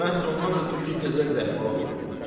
Məhz ondan ötrü ki, təzə bir əhvalat oxuyum.